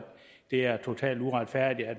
det er totalt uretfærdigt at